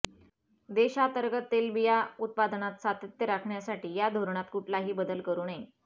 देशातर्गत तेलबिया उत्पादनात सातत्य राखण्यासाठी या धोरणात कुठलाही बदल करू नये